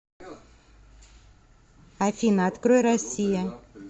афина открой россия